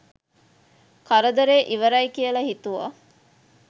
කරදරේ ඉවරයි කියල හිතුවා.